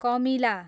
कमिला